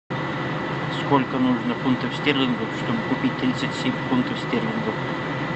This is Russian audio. сколько нужно фунтов стерлингов чтобы купить тридцать семь фунтов стерлингов